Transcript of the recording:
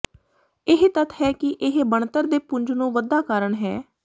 ਇਹ ਤੱਥ ਹੈ ਕਿ ਇਹ ਬਣਤਰ ਦੇ ਪੁੰਜ ਨੂੰ ਵਧਾ ਕਾਰਨ ਹੈ